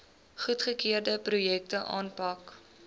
goedgekeurde projekte aanpak